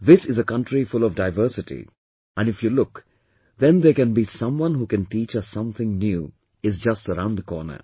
This is a country full of diversity and if you look, then there can be someone who can teach us something new is just around the corner